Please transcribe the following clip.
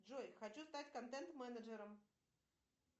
джой хочу стать контент менеджером